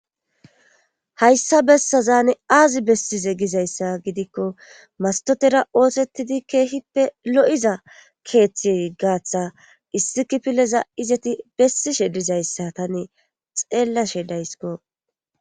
hayssa bessazaane aazi bessize gizayssa gidikko mastotera oosettidi keehippe lo7iza keeththi gaatha issikipileza izeti bessishedizayssa tane xeellashe daysiko